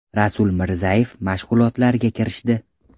Rasul Mirzayev mashg‘ulotlarga kirishdi.